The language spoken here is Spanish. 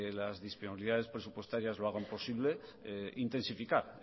las disponibilidades presupuestarias lo hagan posible intensificar